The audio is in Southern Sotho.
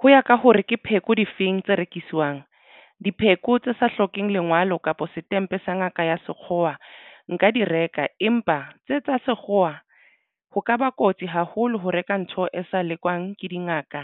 Ho ya ka hore ke pheko difeng tse rekiswang dipheko tse sa hlokeng lengwalo kapa setempe sa ngaka ya sekgowa nka di reka empa tse tsa sekgowa ho kaba kotsi haholo ho reka ntho e sa lekolwang ke dingaka